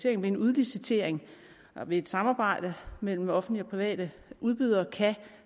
en udlicitering ved et samarbejde mellem offentlige og private udbydere kan